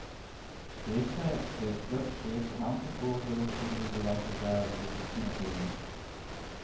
Veste, da je slab šef ravno tako zelo škodljiv za vaše zdravje kot pasivno kajenje?